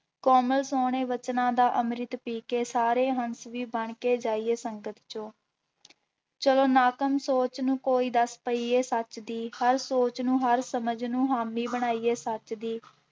ਕੋਮਲ ਸੋਹਣੇ ਬਚਨਾਂ ਦਾ ਅੰਮ੍ਰਿਤ ਪੀ ਕੇ ਸਾਰੇ ਹੰਸ ਵੀ ਬਣਕੇ ਜਾਈਏ ਸੰਗਤ ਚੋਂ ਚਲੋ ਨਾਕਮ ਸੋਚ ਨੂੰ ਕੋਈ ਦੱਸ ਪਈਏ ਸੱਚ ਦੀ, ਹਰ ਸੋਚ ਨੂੰ ਹਰ ਸਮਝ ਨੂੰ ਹਾਮੀ ਬਣਾਈਏ ਸੱਚ ਦੀ।